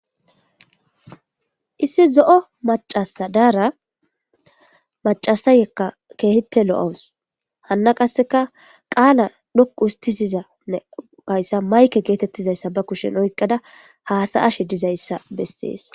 issi zo7o macasa daara macasayekka keehippe lo7awus hanna qasseka qaala dhoqu ustisizanne kayssa mayke geetettizayssa ba kushen oyqada haasa ashe dizayssa bessees